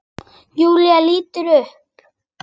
Júlía lítur upp.